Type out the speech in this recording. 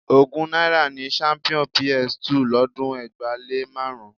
Ogún náírà ni champion PS 2 lọ́dún ẹgbàá-lé-márùn-ún